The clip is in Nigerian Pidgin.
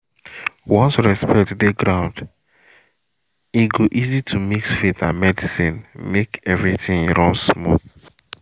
once respect dey ground e go easy to mix faith and medicine make everything run smooth